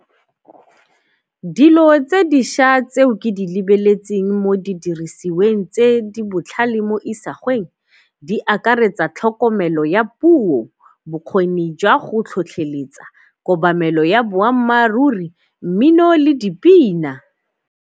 Dilo tse dišwa tseo ke di lebeletseng mo didirisiweng tse di botlhale mo isagweng di akaretsa tlhokomelo ya puo, bokgoni jwa go tlhotlheletsa, kobamelo ya boammaaruri, mmino le dipina.